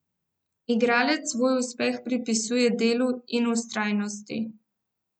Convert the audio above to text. Igralec svoj uspeh pripisuje delu in vztrajnosti.